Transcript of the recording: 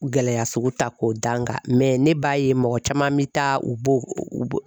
Gɛlɛya sugu ta k'o dankan, ne b'a ye mɔgɔ caman bi taa u b'o